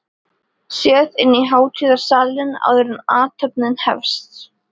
Séð inn í hátíðarsalinn, áður en athöfnin hefst.